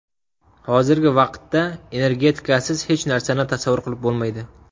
Hozirgi vaqtda energetikasiz hech narsani tasavvur qilib bo‘lmaydi.